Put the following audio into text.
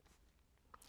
DR1